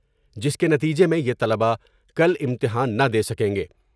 جس کے نتیجے میں یہ طلباء کل امتحان نہ دے سکیں گے ۔